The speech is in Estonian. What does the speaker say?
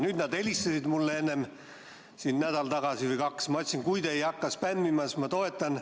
Nüüd nad helistasid mulle nädal või kaks tagasi ja ma ütlesin, et kui te ei hakka spämmima, siis ma toetan.